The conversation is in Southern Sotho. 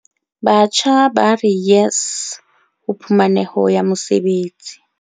Batjha ba re YES ho phumaneho ya mesebetsi